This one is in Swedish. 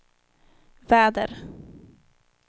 väder